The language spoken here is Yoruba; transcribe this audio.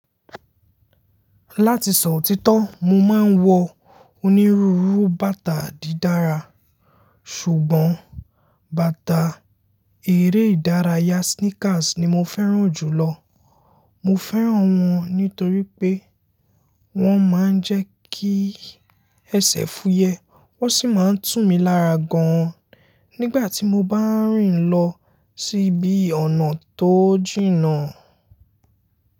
Láti sọ òtítọ́, mo máa ń wọ onírúurú bàtà dídára. Ṣùgbọ́n, bàtà eré ìdárayá sneakers ni mo fẹ́ràn jù lọ. Mo fẹ́ràn wọ́n nítorí pé wọ́n máa ń jẹ́ kí ẹsẹ̀ fúyẹ́, wọ́n sì máa ń tú mi lára gan-an nígbà tí mo bá ń rìn lọ síbi ọ̀nà tó jìnnà.